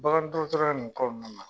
Bagan dɔgɔtɔrɔya in kɔnɔna na.